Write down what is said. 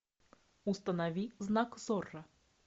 установи знак зорро